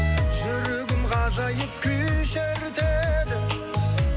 жүрегім ғажайып күй шертеді